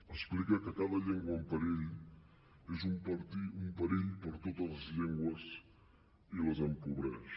explica que cada llengua en perill és un perill per a totes les llengües i les empobreix